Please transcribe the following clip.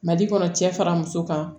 Mali kɔnɔ cɛ fara muso kan